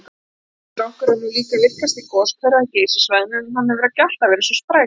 Strokkur er nú virkastur goshver á Geysissvæðinu, en hann hefur ekki alltaf verið svo sprækur.